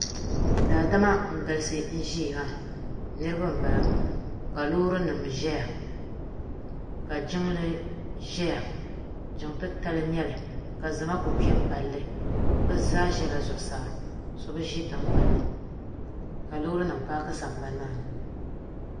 Daadama n galisi n zɛya maa niriba mbala ka loori nima zɛya ka jiŋli zɛya jiŋ titali nyɛli ka zama kuli kpɛ n pali li bi zaa zɛla zuɣusaa so bi zi tiŋgbani ni ka loori nima paaki.